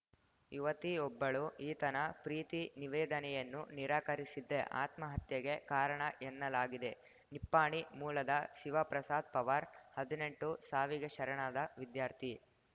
ಯುವತಿಯೊಬ್ಬಳು ಈತನ ಪ್ರೀತಿ ನಿವೇದನೆಯನ್ನು ನಿರಾಕರಿಸಿದ್ದೇ ಆತ್ಮಹತ್ಯೆಗೆ ಕಾರಣ ಎನ್ನಲಾಗಿದೆ ನಿಪ್ಪಾಣಿ ಮೂಲದ ಶಿವಪ್ರಸಾದ ಪವಾರ್‌ಹದಿನೆಂಟು ಸಾವಿಗೆ ಶರಣಾದ ವಿದ್ಯಾರ್ಥಿ